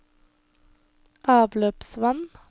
avløpsvann